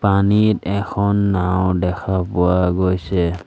পানীত এখন নাও দেখা পোৱা গৈছে।